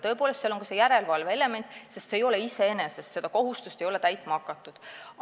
Tõepoolest, seal on ka järelevalve element, sest seda kohustust ei ole täitma hakatud.